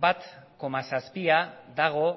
bat koma zazpia dago